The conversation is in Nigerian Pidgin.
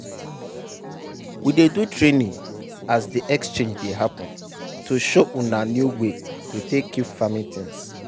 we dey do training as de exchange dey happen to show una new way to take keep farming things.